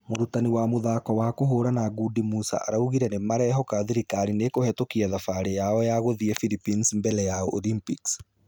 amũrutani wa mũthako wa kũhũrana ngundi musa araugire nĩmerehoka thirikarĩ nĩkũhetokia thabarĩ yao ya gũthie Phillipines mbere ya olympics.